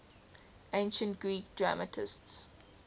ancient greek dramatists